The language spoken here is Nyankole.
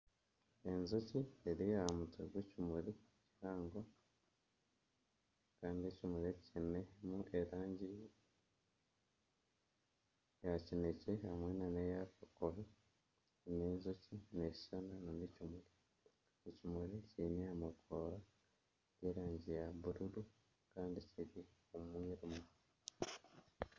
Enjoki eri aha mutwe gw'ekimuri kihango, kandi ekimuri eki kiinemu erangi ey kinekye hamwe n'eya kakobe. N'enjoki neshushana n'ekimuri. Ekimuri kiine amababi g'erangi ya bururu kandi kiri omu mwirima.